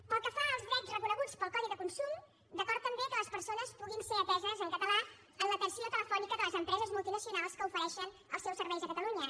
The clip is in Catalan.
pel que fa als drets reconeguts pel codi de consum d’acord també que les persones puguin ser ateses en català en l’atenció telefònica de les empreses multinacionals que ofereixen els seus serveis a catalunya